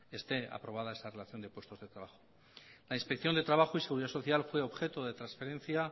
esté aprobado esa relación de puestos de trabajo la inspección de trabajo y seguridad social fue objeto de transferencia